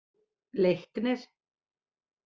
Leiknir